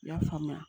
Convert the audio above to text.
U y'a faamuya